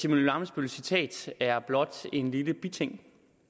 emil ammitzbølls citat er blot en lille biting